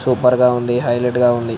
super గా ఉంది highlight గా ఉంది --